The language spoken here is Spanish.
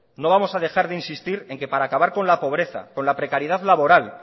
no vamos a dejar de insistir en que para acabar con la pobreza con la precariedad laboral